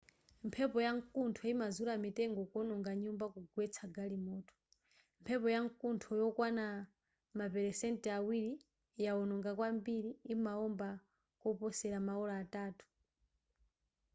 mphepo ya nkuntho imazula mitengo kuononga nyumba kugwetsa galimoto mphepo yankuntho yokwana maperesenti awiri yoononga kwambiri imaomba koposela maola atatu